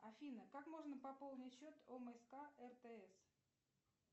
афина как можно пополнить счет омск ртс